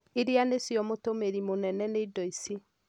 irĩa nicio mũtũmĩri mũnene nĩ indo ici.